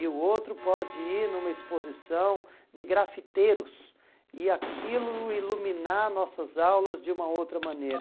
E o outro pode ir numa exposição de grafiteiros e aquilo iluminar nossas aulas de uma outra maneira.